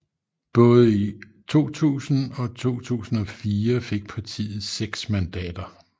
Både i 2000 og 2004 fik partiet seks mandater